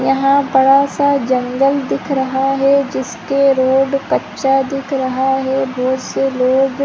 यहाँ बड़ा सा जंगल दिख रहा है जिसके रोड कच्चा दिख रहा है बोहत से लोग--